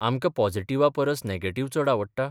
आमकां पॉझिटिव्हा परस नॅगेटिव्ह चड आवडटा?